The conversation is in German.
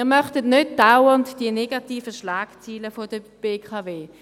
Wir möchten nicht dauernd die negativen Schlagzeilen der BKW lesen.